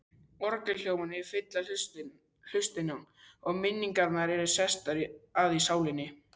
Orgelhljómarnir fylla hlustina, og minningarnar eru sestar að í sálinni.